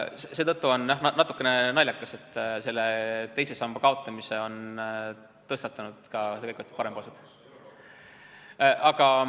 Seetõttu on jah natukene naljakas, et teise samba kaotamise idee on tõstatanud tegelikult parempoolsed.